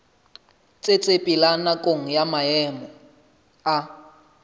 tsetsepela nakong ya maemo a